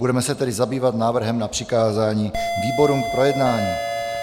Budeme se tedy zabývat návrhem na přikázání výborům k projednání.